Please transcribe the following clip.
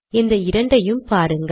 இந்த இரண்டையும் பாருங்கள்